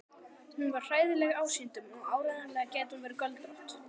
Hún var hræðileg ásýndum og áreiðanlega gæti hún verið göldrótt.